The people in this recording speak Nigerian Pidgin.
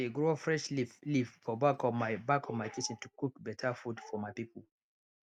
i dey grow fresh leafleaf for back of my back of my kitchen to cook better food for my people